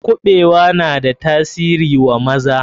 Kuɓewa na da tasiri wa maza.